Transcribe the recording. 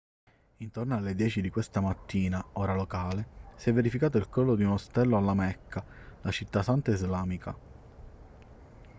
intorno alle 10 di questa mattina ora locale si è verificato il crollo di un ostello alla mecca la città santa islamica